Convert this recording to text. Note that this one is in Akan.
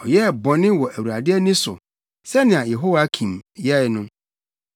Ɔyɛɛ bɔne wɔ Awurade ani so, sɛnea Yehoiakim yɛe no.